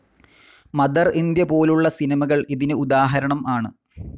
Mother India പോലുളള സിനിമകൾ ഇതിന് ഉദാഹരണം ആണ്.